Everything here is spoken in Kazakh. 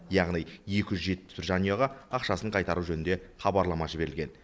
яғни екі жүз жетпіс жанұяға ақшасын қайтару жөнінде хабарлама жіберілген